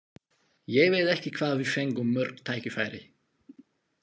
Ég veit ekki hvað við fengum mörg tækifæri.